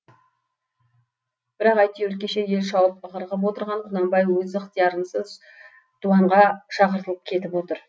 бірақ әйтеуір кеше ел шауып ығыр қып отырған құнанбай өз ықтиярынсыз дуанға шақыртылып кетіп отыр